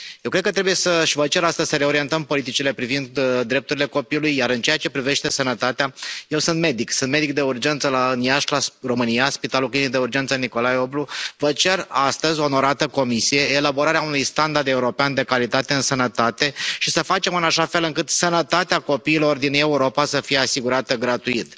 Eu cred că trebuie, și vă cer astăzi să reorientăm politicile privind drepturile copilului, iar în ceea ce privește sănătatea, eu sunt medic, sunt medic de urgență în Iași, România, la Spitalul Clinic de Urgență Nicolae Oblu, vă cer astăzi, onorată Comisie, elaborarea unui standard european de calitate în sănătate și să facem în așa fel încât sănătatea copiilor din Europa să fie asigurată gratuit.